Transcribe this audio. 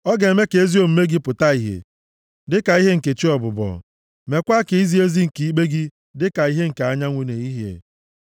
Ọ ga-eme ka ezi omume gị pụta ìhè dịka ihe nke chị ọbụbọ, meekwa ka izi ezi nke ikpe gị dịka ihe nke anyanwụ nʼehihie.